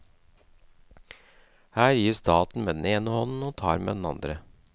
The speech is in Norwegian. Her gir staten med den ene hånden og tar med den andre.